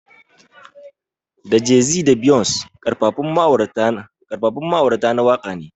Da Jay-Z da Beyonce Karfafun ma'aurata na waka ne.